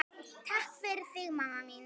Takk fyrir þig, mamma mín.